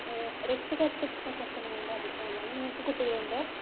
ഏ രക്ഷകർത്തുത്തെ കുറിച്ചുള്ള നിങ്ങളുടെ അഭിപ്രായം എന്താണ്? നിങ്ങൾക്ക് കുട്ടികൾ ഉണ്ടോ?